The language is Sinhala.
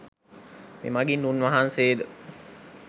මෙමගින් උන් වහන්සේ ද